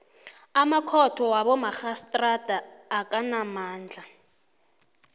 amakhotho wabomarhistrada akanamandla